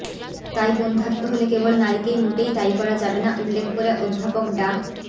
তাই বন্ধ্যত্ব হলে কেবল নারীকেই মোটেই দায়ী করা যাবে না উল্লেখ করে অধ্যাপক ডা